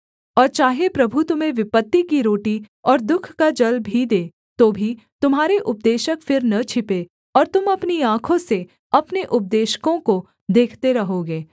और चाहे प्रभु तुम्हें विपत्ति की रोटी और दुःख का जल भी दे तो भी तुम्हारे उपदेशक फिर न छिपें और तुम अपनी आँखों से अपने उपदेशकों को देखते रहोगे